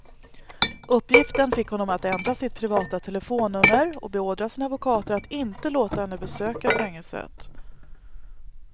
Uppgiften fick honom att ändra sitt privata telefonnummer och beordra sina advokater att inte låta henne besöka fängelset.